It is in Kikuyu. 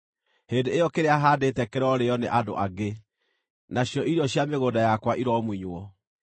hĩndĩ ĩyo kĩrĩa haandĩte kĩrorĩĩo nĩ andũ angĩ, nacio irio cia mĩgũnda yakwa iromunywo.